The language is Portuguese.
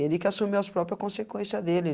Ele que assumiu as própria consequência dele.